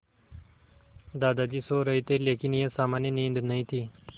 दादाजी सो रहे थे लेकिन यह सामान्य नींद नहीं थी